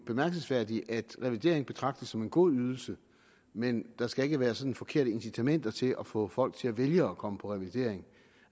bemærkelsesværdigt at revalidering betragtes som en god ydelse men at der ikke skal være sådan forkerte incitamenter til at få folk til at vælge at komme på revalidering